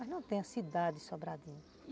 Mas não tem a cidade Sobradinho.